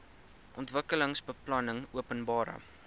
ontwikkelingsbeplanningopenbare